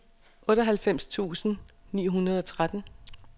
otteoghalvfems tusind ni hundrede og tretten